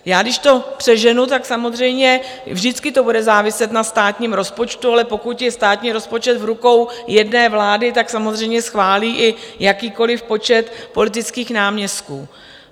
Já, když to přeženu, tak samozřejmě vždycky to bude záviset na státním rozpočtu, ale pokud je státní rozpočet v rukou jedné vlády, tak samozřejmě schválí i jakýkoliv počet politických náměstků.